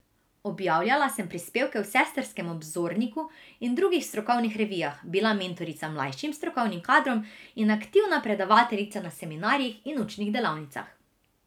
Objavljala sem prispevke v sestrskem Obzorniku in drugih strokovnih revijah, bila mentorica mlajšim strokovnim kadrom in aktivna predavateljica na seminarjih in učnih delavnicah.